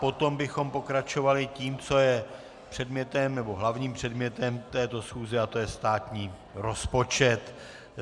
Potom bychom pokračovali tím, co je předmětem, nebo hlavním předmětem této schůze, a to je státní rozpočet.